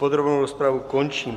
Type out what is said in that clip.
Podrobnou rozpravu končím.